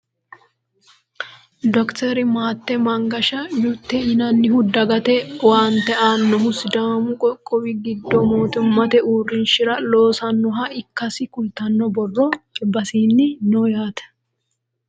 dokiteri maatte mangasha yute yinannihu dagate owaante aannohu sidaamu qoqqowi giddo mootimmate uurrinshara loosannoha ikkasi kultanno borro albasiinni no yaate